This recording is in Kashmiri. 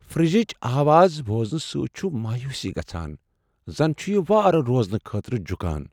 فرجچ لگاتار آواز بوزنہٕ سۭتۍ چھ مایوسی گژھان، زن چھ یِہ وارٕ روزنہٕ خٲطرٕ جکھان۔